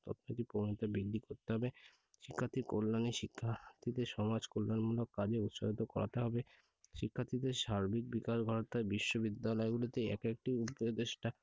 অর্থনীতি প্রবণতা বৃদ্ধি করতে হবে। শিক্ষার্থীর কল্যাণে শিক্ষার্থীদের সমাজকল্যাণমূলক কাজে উৎসাহিত করাতে হবে। শিক্ষার্থীদের সার্বিক বিকাশ ঘটাতে বিশ্ববিদ্যালয়গুলিতে একেকটি উপদেষ্টা